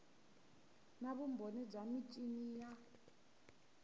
na vumbhoni bya michini ya